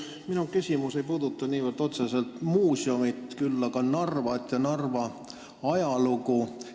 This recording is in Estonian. Minu küsimus ei puuduta otseselt muuseumi, vaid üldse Narvat ja Narva ajalugu.